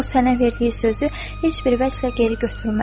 O, sənə verdiyi sözü heç bir vəchlə geri götürməz.